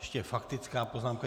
Ještě faktická poznámka.